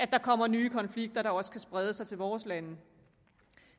der kommer nye konflikter der også kan sprede sig til vores lande